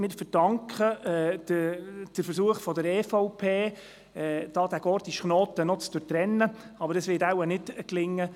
Wir verdanken den Versuch der EVP, diesen gordischen Knoten noch zu durchtrennen, aber das wird wohl nicht gelingen.